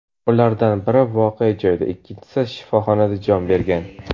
Ulardan biri voqea joyida, ikkinchisi shifoxonada jon bergan.